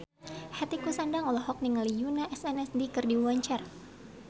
Hetty Koes Endang olohok ningali Yoona SNSD keur diwawancara